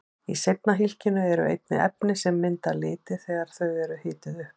Í seinna hylkinu eru einnig efni sem mynda liti þegar þau eru hituð upp.